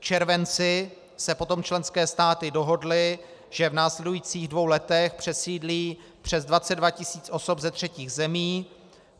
V červenci se potom členské státy dohodly, že v následujících dvou letech přesídlí přes 22 tisíc osob ze třetích zemí.